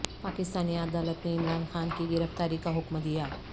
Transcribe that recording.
پاکستانی عدالت نے عمران خان کی گرفتاری کا حکم دیا